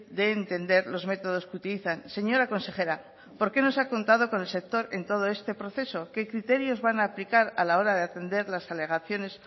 de entender los métodos que utilizan señora consejera por qué no se ha contado con el sector en todo este proceso qué criterios van a aplicar a la hora de atender las alegaciones